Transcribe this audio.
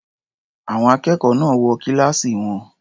Àwọn akẹ́kọ̀ọ́ náà wọ kíláàsì wọn.